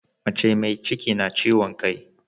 Mace me ciki na kiwon kai